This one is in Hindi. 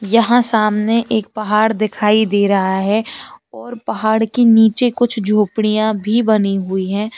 यहां सामने एक पहाड़ दिखाई दे रहा है और पहाड़ के नीचे कुछ झोपड़ियां भी बनी हुई हैं।